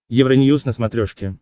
евроньюз на смотрешке